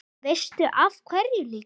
Veistu af hverju líka?